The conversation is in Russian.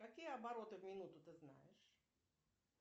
какие обороты в минуту ты знаешь